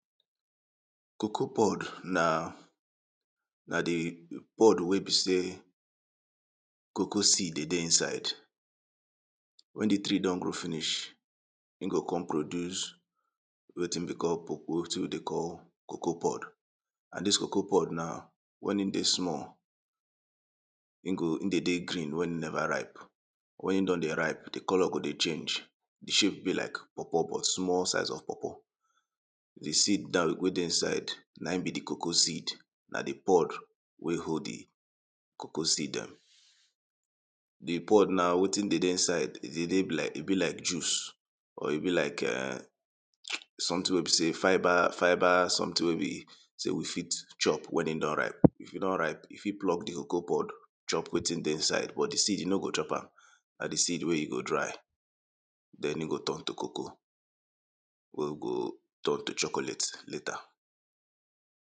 Cocoa pod na na di pod wey be sey cocoa seed dey dey inside. wen di tree don grow finish, e go come produce wetin we dey call cocoa wetin we dey call, cocoa pod, and dis cocoa pod na wen in dey small in go in dey dey green wen e never ripe, wen e don dey ripe, di colour go dey change, di shape be like pawpaw but small size of pawpaw, di seed den wey dey inside na im be di cocoa seed. Na di pod wey hold di cocoa seed dem, di pod na wetin dey dey inside, e dey dey do like e be like juice, or e be like [urn] something wey be sey, fibre fibre something wey be sey we fit chop wen e don ripe, if e don ripe you fit pluck di cocoa pod chop wetin dey inside but di seed you no go chop am, na di seed wey you go dry, den e go turn to cocoa we we go turn to chocolate later.